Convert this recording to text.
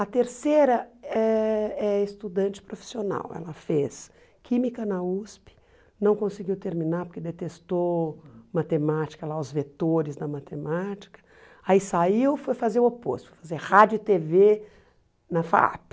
A terceira eh é estudante profissional, ela fez química na USP, não conseguiu terminar porque detestou matemática, lá os vetores da matemática, aí saiu e foi fazer o oposto, fazer rádio e tê vê na FAAP.